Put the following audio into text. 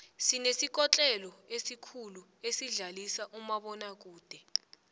sinesikotlelo esikhulu esidlalisa umabonakude